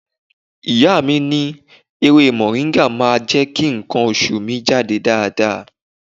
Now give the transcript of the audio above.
Ìyá mi ní ewé Mọ̀ríngà náà máa jẹ́ kí nǹkan oṣù mi jáde dáadáa.